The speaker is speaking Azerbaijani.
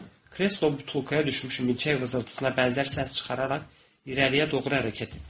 Kreslo butulkaya düşmüş milçəyin vızıltısına bənzər səs çıxararaq irəliyə doğru hərəkət etdi.